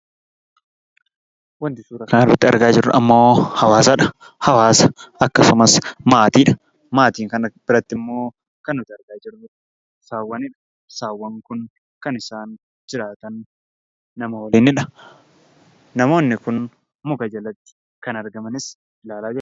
Wanti suuraa kanarratti argaa jirru ammoo hawaasadha. Hawaasa akkasumas maatiidha. Maatiin kana birattimmoo kan nuti argaa jirru saawwanidha. Saawwan kun kan isaan jiraatan nama waliinidha. Namoonni kun muka jalatti kan argamanis ilaalaa jirra.